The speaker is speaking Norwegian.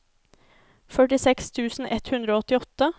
førtiseks tusen ett hundre og åttiåtte